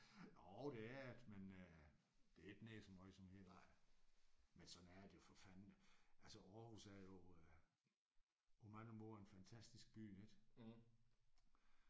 Jo det er der men øh det er ikke den mest voldsomme i hele. Men sådan er det jo for fanden altså Aarhus er jo øh på mange måder en fantastisk by ik?